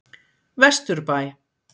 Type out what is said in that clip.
Vesturbæ